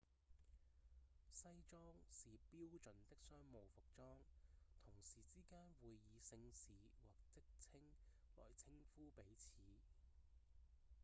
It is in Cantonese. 西裝是標準的商務服裝同事之間會以姓氏或職稱來稱呼彼此